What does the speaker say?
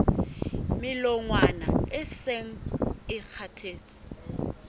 melongwana e seng e kgathetse